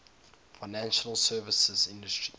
financial services industry